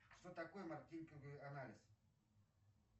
что такое маркетинговый анализ